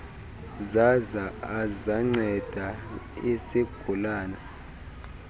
zaza azanceda isigulane